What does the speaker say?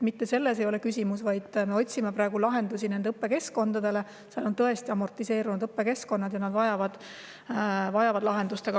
Mitte selles ei ole küsimus, vaid me otsime praegu lahendusi nendele õppekeskkondadele, mis on tõesti amortiseerunud ja vajavad lahendust.